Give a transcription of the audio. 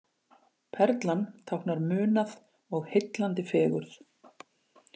Perlan táknar munað og heillandi fegurð